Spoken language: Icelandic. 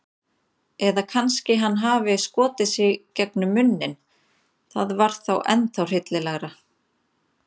Eða kannski hann hafi skotið sig gegnum munninn- það var ennþá hryllilegra.